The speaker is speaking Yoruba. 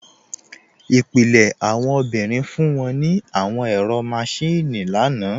Ipilẹ̀ awọn obìnrin fún wọn ní àwọn ẹ̀rọ máṣìnnì lánà